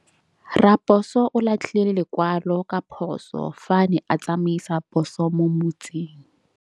Raposo o latlhie lekwalô ka phosô fa a ne a tsamaisa poso mo motseng.